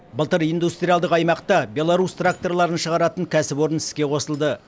былтыр индустриалдық аймақта беларус тракторларын шығаратын кәсіпорын іске қосылды